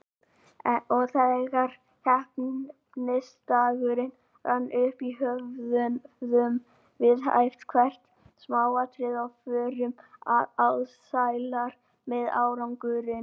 Og þegar keppnisdagurinn rann upp höfðum við æft hvert smáatriði og vorum alsælar með árangurinn.